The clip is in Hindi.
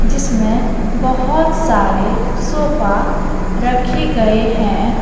जिसमें बहुत सारे सोफा रखे गए है ।